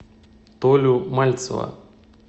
толю мальцева